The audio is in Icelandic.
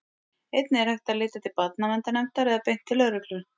einnig er hægt að leita til barnaverndarnefndar eða beint til lögreglu